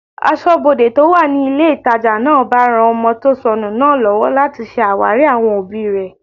Asọ́bodè tó wà ní ilé ìtajà náà bá ran ọmọ tó sọnù náà lọ́wọ́ láti ṣe àwárí àwọn òbí rẹ̀